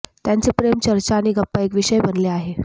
त्यांचे प्रेम चर्चा आणि गप्पा एक विषय बनले आहे